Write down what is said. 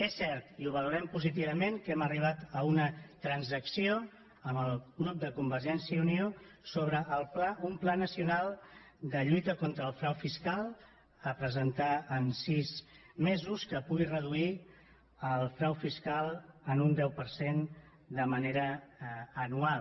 és cert i ho valorem positivament que hem arribat a una transacció amb el grup de convergència i unió sobre un pla nacional de lluita contra el frau fiscal a presentar en sis mesos i que pugui reduir el frau fiscal en un deu per cent de manera anual